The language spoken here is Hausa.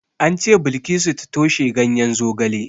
An ce Bilkisu ta toshe ganyen zogale.